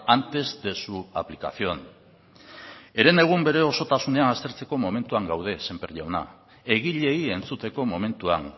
antes de su aplicación herenegun bere osotasunean aztertzeko momentuan gaude sémper jauna egileei entzuteko momentuan